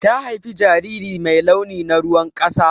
Ta haifa jariri mai launi na ruwan ƙasa.